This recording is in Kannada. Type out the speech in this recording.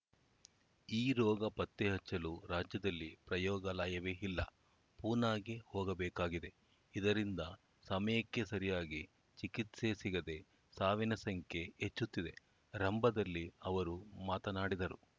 ಈ ರೋಗ ಪತ್ತೆ ಹಚ್ಚಲು ರಾಜ್ಯದಲ್ಲಿ ಪ್ರಯೋಗಾಲಯವೇ ಇಲ್ಲ ಪೂನಾಗೆ ಹೋಗಬೇಕಾಗಿದೆ ಇದರಿಂದ ಸಮಯಕ್ಕೆ ಸರಿಯಾಗಿ ಚಿಕಿತ್ಸೆ ಸಿಗದೆ ಸಾವಿನ ಸಂಖ್ಯೆ ಹೆಚ್ಚುತ್ತಿದೆ ರಂಭದಲ್ಲಿ ಅವರು ಮಾತನಾಡಿದರು